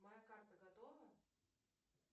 моя карта готова